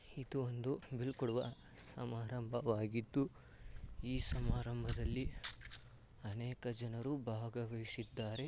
ಇದು ಒಂದು ಬೀಳ್ಕೊಡುವ ಸಮಾರಂಭ ವಾಗಿದ್ದು ಈ ಸಮಾರಂಭದಲ್ಲಿ ಅನೇಕ ಜನರು ಭಾಗವಹಿಸಿದ್ದಾರೆ.